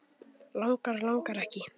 Langar, langar ekki.